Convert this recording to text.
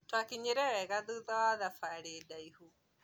Twakinyire wega thũtha wa thabarĩ ndaihũ